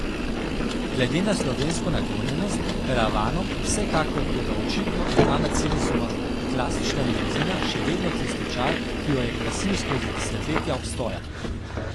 Glede na slovensko naklonjenost karavanom, vsekakor, toda očitno ima mercedesova klasična limuzina še vedno tisti čar, ki jo je krasil skozi desetletja obstoja.